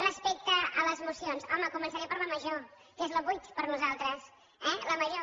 respecte a les esmenes home començaré per la major que és la vuit per nosaltres eh la major